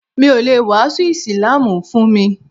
Mi o le wàásù ísílámù fún mi.